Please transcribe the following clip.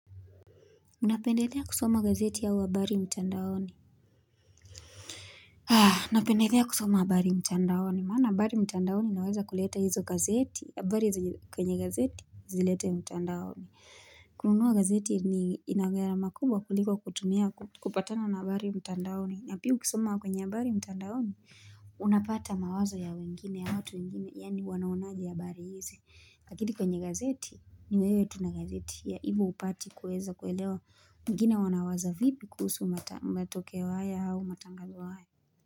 Unapendelea kusoma gazeti au habari mtandaoni? Napendelea kusoma habari mtandaoni. Maana habari mtandaoni inaweza kuleta hizo gazeti. Habari zenye kwenye gazeti zilete mtandaoni. Kununua gazeti ni ina gharama kubwa kuliko kutumia kupatana na habari mtandaoni. Na pia ukisoma kwenye habari mtandaoni. Unapata mawazo ya wengine ya watu wengine. Yaani wanaonaje habari hizi. Lakini kwenye gazeti ni wewe tu na gazeti hivyo hupati kuweza kuelewa. Wengine wanawaza vipi kuhusu matokeo haya au matangazo haya.